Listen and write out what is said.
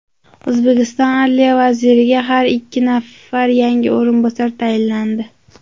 O‘zbekiston adliya vaziriga ikki nafar yangi o‘rinbosar tayinlandi.